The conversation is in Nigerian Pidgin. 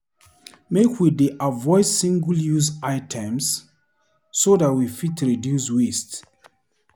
Make we dey avoid single-use items so dat we fit reduce waste.